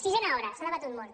sisena hora s’ha debatut molt